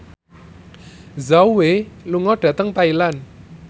Zhao Wei lunga dhateng Thailand